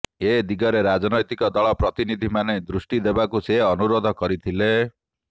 ଏଦିଗରେ ରାଜନୈତିକ ଦଳର ପ୍ରତିନିଧିମାନେ ଦୃଷ୍ଟି ଦେବାକୁ ସେ ଅନୁରୋଧ କରିଥିଲେ